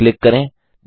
पर क्लिक करें